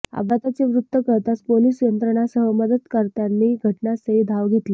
अपघाताचे वृत्त कळताच पोलीस यंत्रणांसह मदतकर्त्यांनी घटनास्थळी धाव घेतली